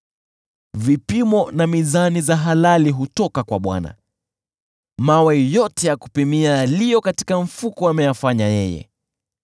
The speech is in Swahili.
Vipimo na mizani za halali hutoka kwa Bwana ; mawe yote ya kupimia yaliyo katika mfuko ameyafanya yeye.